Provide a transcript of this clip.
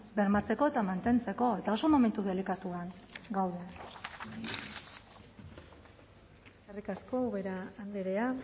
bermatzeko eta mantentzeko eta oso momentu delikatuan gaude eskerrik asko ubera andrea